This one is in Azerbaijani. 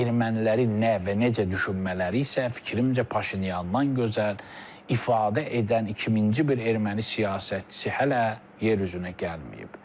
Ermənilərin nə və necə düşünmələri isə fikrimcə Paşinyandan gözəl ifadə edən 2000-ci bir erməni siyasətçisi hələ yer üzünə gəlməyib.